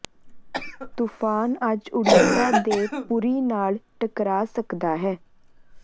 ਤੂਫ਼ਾਨ ਅੱਜ ਉੜੀਸਾ ਦੇ ਪੁਰੀ ਨਾਲ ਟਕਰਾ ਸਕਦਾ ਹੈ